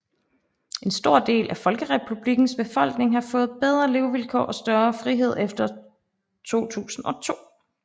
En stor del af Folkerepublikkens befolkning har fået bedre levekår og større frihed efter 2002